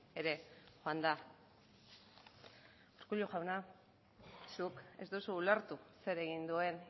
ere joan da urkullu jauna zuk ez duzu ulertu zer egin duen